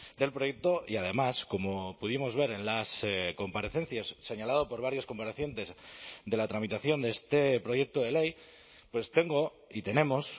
del proyecto y además como pudimos ver en las comparecencias señalado por varios comparecientes de la tramitación de este proyecto de ley pues tengo y tenemos